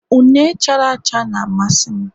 Une chara acha na-amasị m